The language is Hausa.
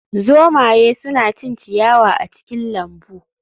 Zomaye suna cin ciyawa a cikin lambu